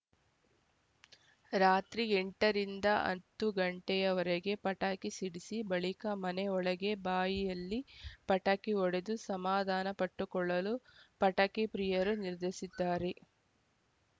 ರಾತ್ರಿ ಎಂಟರಿಂದ ಅಂತು ಗಂಟೆಯವರೆಗೆ ಪಟಾಕಿ ಸಿಡಿಸಿ ಬಳಿಕ ಮನೆ ಒಳಗೆ ಬಾಯಿಯಲ್ಲಿ ಪಟಾಕಿ ಹೊಡೆದು ಸಮಾಧಾನಪಟ್ಟುಕೊಳ್ಳಲು ಪಟಾಕಿಪ್ರಿಯರು ನಿರ್ಧಸಿದ್ದಾರೆ